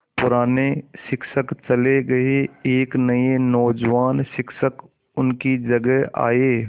पुराने शिक्षक चले गये एक नये नौजवान शिक्षक उनकी जगह आये